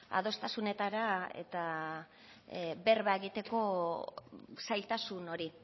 adostasunetara eta berba egiteko zailtasun hori